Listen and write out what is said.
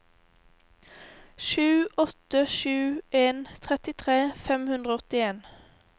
sju åtte sju en trettitre fem hundre og åttien